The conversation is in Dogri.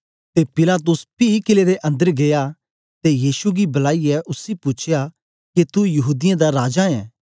ते पिलातुस ने पी कीले दे अन्दर गीया ते यीशु गी बलाईयै उसी पूछया के तू यहूदीयें दा राजा ऐं